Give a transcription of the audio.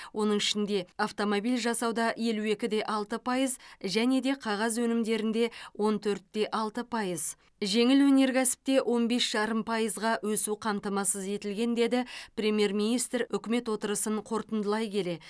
оның ішінде автомобиль жасауда елу екі де алты пайыз және де қағаз өнімдерінде он төрт те алты пайыз жеңіл өнеркәсіпте он бес жарым өсу қамтамасыз етілген деді премьер министр үкімет отырысын қорытындылай келе